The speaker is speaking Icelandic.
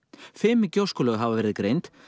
fimm gjóskulög hafa verið greind